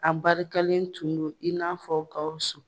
An barikalen tun do i n'a fɔ Gawusu.